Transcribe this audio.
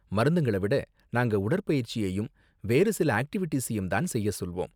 மருந்துங்கள விட, நாங்க உடற் பயிற்சியையும் வேறு சில ஆக்டிவிடீஸையும் தான் செய்ய சொல்வோம்.